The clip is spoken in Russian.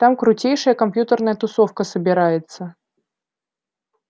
там крутейшая компьютерная тусовка собирается